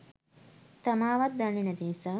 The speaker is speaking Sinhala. තමාවත් දන්නෙ නැති නිසා.